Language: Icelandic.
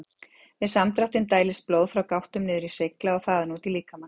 Við samdráttinn dælist blóð frá gáttum niður í slegla og þaðan út í líkamann.